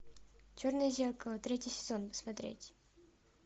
черное зеркало третий сезон смотреть